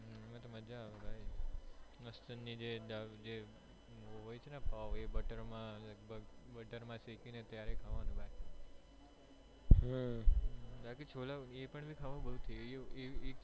એમાં તો મજ્જા આવે ભાઈ જે હોય છે ને પાવ એ બટર માં લગભગ બટર માં શેકી ને ત્યારે કહેવાનું બાકી બાકી તો છોલા એ પણ ખાવાનું